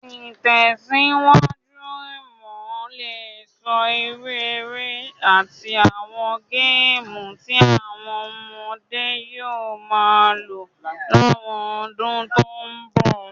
Ìtẹ̀síwájú imo le so irú eré àtí àwon game ti àwon ọmọdé yio ma lo láwon odún to n bòwá